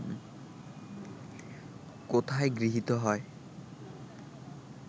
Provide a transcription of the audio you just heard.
কোথায় গৃহীত হয়